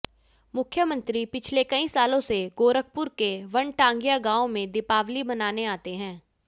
मुख्यमंत्री पिछले कई सालों से गोरखपुर के वनटांगियां गांव में दीपावली मनाने आते है